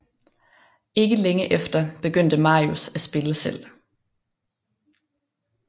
Ikke længe efter begyndte Marius at spille selv